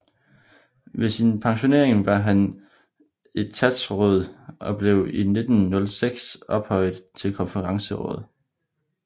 Ved sin pensionering var han etatsråd og blev i 1906 ophøjet til konferensråd